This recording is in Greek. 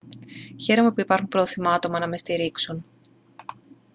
χαίρομαι που υπάρχουν πρόθυμα άτομα να με στηρίξουν